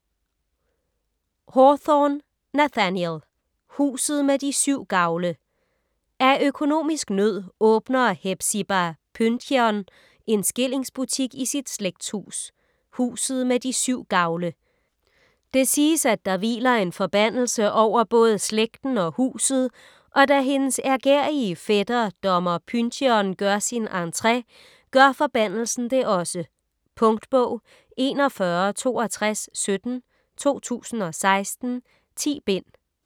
Hawthorne, Nathaniel: Huset med de syv gavle Af økonomisk nød åbner Hepzibah Pyncheon en skillingsbutik i sit slægtshus, Huset med de syv gavle. Det siges, at der hviler en forbandelse over både slægten og huset, og da hendes ærgerrige fætter, dommer Pyncheon, gør sin entre, gør forbandelsen det også. Punktbog 416217 2016. 10 bind.